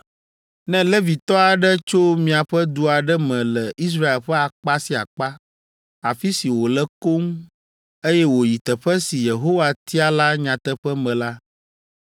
“Ne Levitɔ aɖe tso miaƒe du aɖe me le Israel ƒe akpa sia akpa, afi si wòle koŋ, eye wòyi teƒe si Yehowa tia la nyateƒe me la,